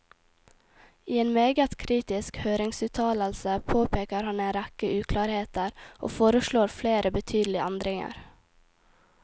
I en meget kritisk høringsuttalelse påpeker han en rekke uklarheter, og foreslår flere betydelige endringer.